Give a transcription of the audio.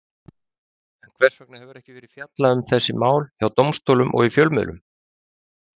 En hvers vegna hefur ekki verið fjallað um þessi mál hjá dómstólum og í fjölmiðlum?